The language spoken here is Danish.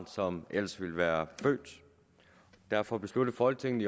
som ellers ville være født derfor besluttede folketinget